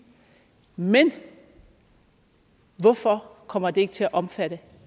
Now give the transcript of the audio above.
men hvorfor kommer det ikke til at omfatte